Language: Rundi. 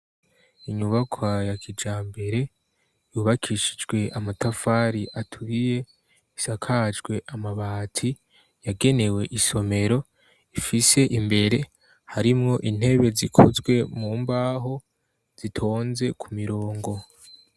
inyubakwa ya kijambere yubakishijwe amatafari atwiye isakajwe amabati yagenewe isomero ifise imbere harimwo intebe zikozwe mumbaho zitonze ku mirongo